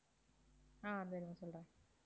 ஆஹ் இதோ இருங்க சொல்றேன்.